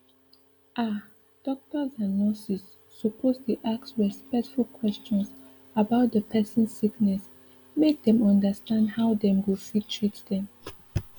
ah doctors and nurses suppose dey ask respectful questions about dey person sickness make dem understand how dem go fit treat dem